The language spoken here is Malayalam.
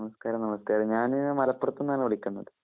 നമസ്കാരം, നമസ്കാരം. ഞാന് മലപ്പുറത്ത് നിന്നാണ് വിളിക്കുന്നത്.